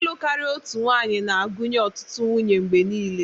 Ịlụ karia otu nwanyị na-agụnye ọtụtụ nwunye mgbe niile.